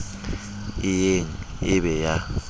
e yeng e be ya